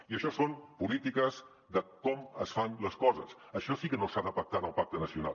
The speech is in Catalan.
i això són polítiques de com es fan les coses això sí que no s’ha de pactar en el pacte nacional